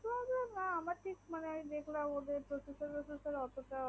না আমার তা দেখলাম ওদের প্রসেসর টোসিসসর অটো ভালো না